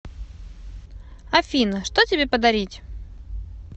афина что тебе подарить